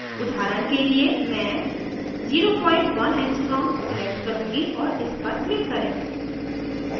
उदाहरण के लिए मैं 01 angstrom select करूँगी और इस पर click करें